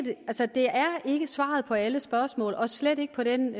ikke svaret på alle spørgsmål og slet ikke på den